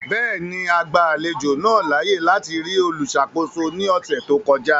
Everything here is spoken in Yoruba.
Bẹẹni, a gba alejo naa laaye lati ri oluṣakoso ni ọsẹ to kọja.